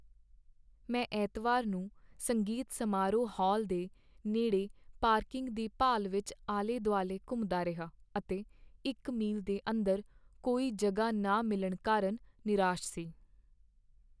ਮੈਂ ਐਤਵਾਰ ਨੂੰ ਸੰਗੀਤ ਸਮਾਰੋਹ ਹਾਲ ਦੇ ਨੇੜੇ ਪਾਰਕਿੰਗ ਦੀ ਭਾਲ ਵਿੱਚ ਆਲੇ ਦੁਆਲੇ ਘੁੰਮਦਾ ਰਿਹਾ ਅਤੇ ਇੱਕ ਮੀਲ ਦੇ ਅੰਦਰ ਕੋਈ ਜਗ੍ਹਾ ਨਾ ਮਿਲਣ ਕਾਰਨ ਨਿਰਾਸ਼ ਸੀ